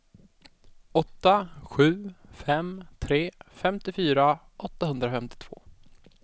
åtta sju fem tre femtiofyra åttahundrafemtiotvå